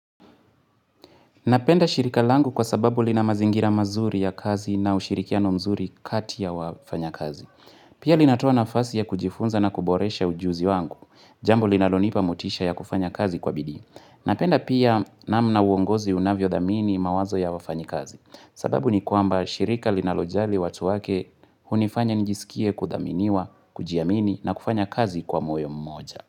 Napenda shirika langu kwa sababu lina mazingira mazuri ya kazi na ushirikiano mzuri kati ya wafanyakazi. Pia linatoa nafasi ya kujifunza na kuboresha ujuzi wangu. Jambo linalonipa motisha ya kufanya kazi kwa bidii. Napenda pia namna uongozi unavyothamini mawazo ya wafanyikazi. Sababu ni kwamba shirika linalojali watu wake hunifanya nijisikie kuthaminiwa, kujiamini na kufanya kazi kwa moyo mmoja.